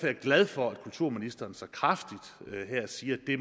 jeg glad for at kulturministeren så kraftigt her siger at det